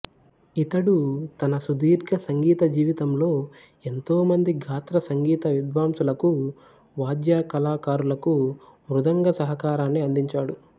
ఇతడు తన సుదీర్ఘ సంగీత జీవితంలో ఎంతో మంది గాత్ర సంగీత విద్వాంసులకు వాద్య కళాకారులకు మృదంగ సహకారాన్ని అందించాడు